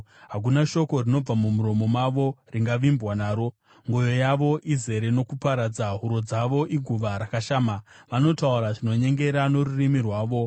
Hakuna shoko rinobva mumuromo mavo ringavimbwa naro; mwoyo yavo izere nokuparadza. Huro dzavo iguva rakashama; vanotaura zvinonyengera norurimi rwavo.